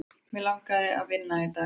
Mig langaði að vinna í dag.